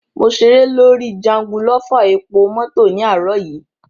Mo ṣeré lórí jangulọ́fà epomọ́tọ̀ ní àárò yìí.